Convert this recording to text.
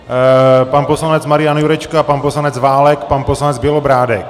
Pan poslanec Marian Jurečka, pan poslanec Válek, pan poslanec Bělobrádek.